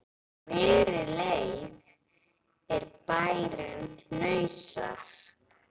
Á miðri leið er bærinn Hnausar.